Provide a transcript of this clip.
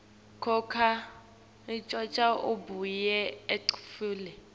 coca abuye etfule